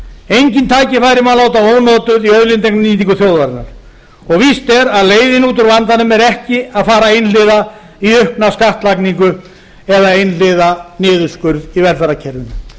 engin tækifæri má láta ónotuð í auðlindanýtingu þjóðarinnar og víst er að leiðin út úr vandanum er ekki að fara einhliða í aukna skattlagningu eða einhliða niðurskurð í velferðarkerfinu